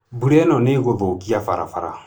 Mbura ĩno nĩ ĩgũthũkia barabara.